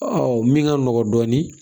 min ka nɔgɔ dɔɔnin